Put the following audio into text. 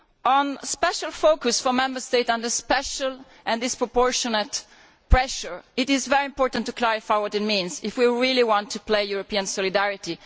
On the special focus on Member States under special and disproportionate pressure, it is very important to clarify what this means if we really want to employ European solidarity.